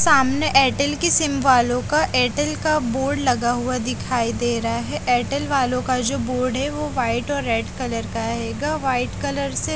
सामने एयरटेल की सिम वालों का एयरटेल का बोर्ड लगा हुआ दिखाई दे रा है एयरटेल वालों का जो बोर्ड है वो वाइट और रेड कलर का आएगा व्हाइट कलर से --